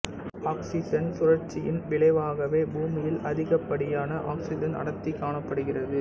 oxygen சுழற்சியின் விளைவாகவே பூமியில் அதிகப்படியான ஆக்சிசன் அடர்த்தி காணப்படுகிறது